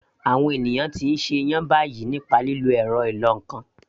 Àwọn ènìyàn ti ń ṣe iyán báyìí nípa lílo ẹ̀rọ ìlọ ǹkan